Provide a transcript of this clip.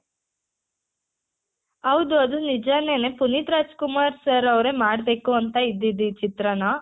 ಹೌದು ಅದು ನಿಜಾನೆನೆ ಪುನೀತ್ ರಾಜ್ ಕುಮಾರ್ sir ಅವ್ರೆ ಮಾಡ್ಬೇಕು ಅಂತ ಇದ್ದಿದ್ ಈ ಚಿತ್ರಾನ